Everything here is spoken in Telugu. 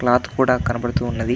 ఒక క్లోత్ కూడా కనబడుతుంది.